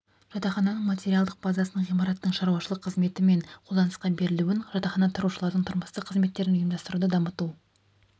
жатақхананың материалдық базасын ғимараттың шаруашылық қызметі мен қолданысқа берілуін жатақханада тұрушылардың тұрмыстық қызметтерін ұйымдастыруды дамыту